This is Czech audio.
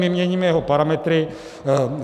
My měníme jeho parametry.